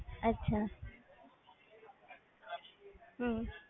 ਅੱਛਾ ਹਮ